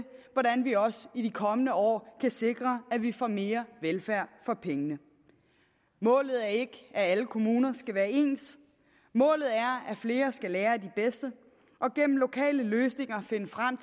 vi også i de kommende år kan sikre at vi får mere velfærd for pengene målet er ikke at alle kommuner skal være ens målet er at flere skal lære af de bedste og gennem lokale løsninger finde frem